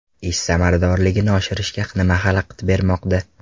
Ish samaradorligini oshirishga nima xalaqit bermoqda?